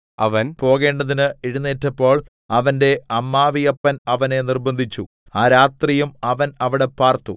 അവൻ പോകേണ്ടതിന് എഴുന്നേറ്റപ്പോൾ അവന്റെ അമ്മാവിയപ്പൻ അവനെ നിർബ്ബന്ധിച്ചു ആ രാത്രിയും അവൻ അവിടെ പാർത്തു